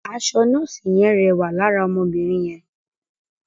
Aṣọ nọ́ọ̀sì yẹn rẹwà lára ọmọbìnrin yẹn.